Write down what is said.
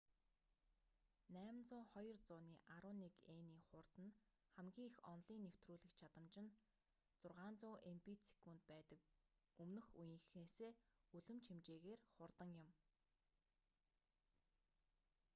802.11n-ийн хурд нь хамгийн их онолын нэвтрүүлэх чадамж нь 600mбит/сек байдаг өмнөх үеийнхээсээ үлэмж хэмжээгээр хурдан юм